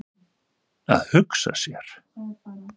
Að hugsa sér!